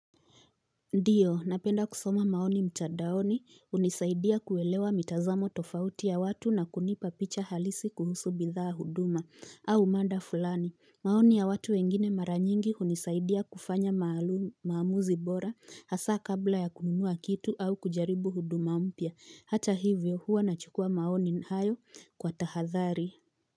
Ndiyo napenda kusoma maoni mtandaoni hunisaidia kuelewa mitazamo tofauti ya watu na kunipa picha halisi kuhusu bidhaa huduma au mada fulani maoni ya watu wengine mara nyingi hunisaidia kufanya maamuzi bora hasa kabla ya kununua kitu au kujaribu huduma mpya hata hivyo huwa nachukua maoni hayo kwa tahadhari.